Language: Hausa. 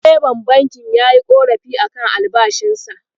Direban bankin yayi ƙorafi a kan albashinsa.